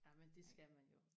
amen det skal man jo